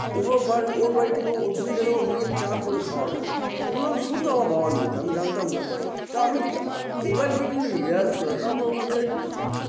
ওভোর বাড়ি ওর বাড়িতে কেউ অতিথি গেলেও নিজেই চা করে খাওয়াতো এগুলো শুনতাম আমার বাবার মুখে আমি জানতাম না তা আমি আআআ এবার তারপর ওখান থেকে